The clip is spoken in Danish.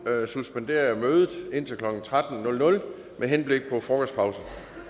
suspenderer jeg mødet indtil klokken tretten med henblik på frokostpause